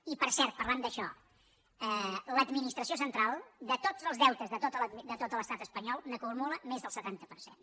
i per cert parlant d’això l’administració central de tots els deutes de tot l’estat espanyol n’acumula més del setanta per cent